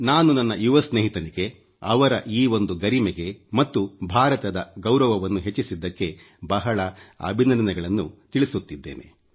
ನಾನು ನನ್ನ ಯುವ ಸ್ನೇಹಿತನಿಗೆ ಅವರ ಈ ಒಂದು ಗರಿಮೆಗೆ ಮತ್ತು ಭಾರತದ ಗೌರವವನ್ನು ಹೆಚ್ಚಿಸಿದ್ದಕ್ಕೆ ಬಹಳ ಅಭಿನಂದನೆಗಳನ್ನು ತಿಳಿಸುತ್ತಿದ್ದೇನೆ